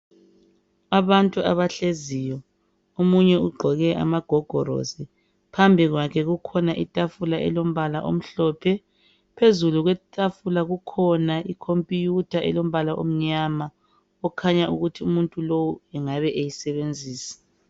Abantu abahleziyo omunye ugqoke amagogorosi phambi kwakhe kukhona itafula elombala omhlophe phezulu kwetafula kukhona I computer elombala omnyama okhanya ukuthi umuntu lowu engabe beyisebenzisa